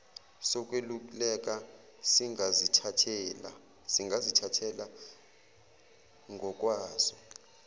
sokweluleka singazithathela ngokwaso